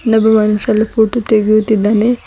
ಇನ್ನೊಬ್ಬ ಆನ್ ಸಲ್ಪು ಫೋಟೋ ತೆಗೆಯುತ್ತಿದ್ದಾನೆ.